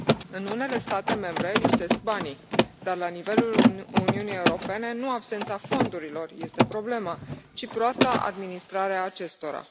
În unele state membre lipsesc banii, dar la nivelul Uniunii Europene nu absența fondurilor este problema, ci proasta administrare a acestora.